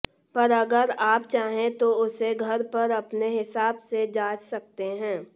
पर अगर आप चाहें तो उसे घर पर अपने हिसाब से जांच सकते हैं